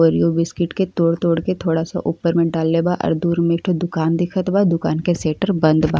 Oreo biscuit के तोड़ तोड़ के थोड़ा सा ऊपर में डलले बा। दूर में एक ठो दुकान दिखत बा आ दुकान के शटर बंद बा।